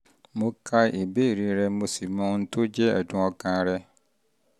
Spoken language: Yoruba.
mo ka ìbéèrè rẹ um mo sì um mọ ohun tó jẹ́ ẹ̀dùn ọkàn um rẹ